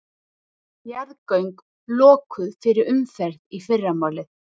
Jarðgöng lokuð fyrir umferð í fyrramálið